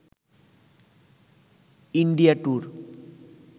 India tour